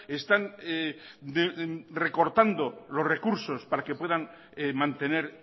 están recortando los recursos para que puedan mantener